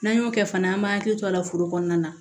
N'an y'o kɛ fana an b'an hakili to a la foro kɔnɔna na